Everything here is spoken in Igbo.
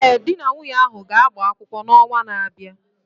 Ee, di na nwunye ahụ ga-agba kwụkwọ n'ọnwa na-abịa